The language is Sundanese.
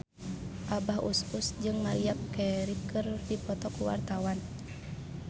Abah Us Us jeung Maria Carey keur dipoto ku wartawan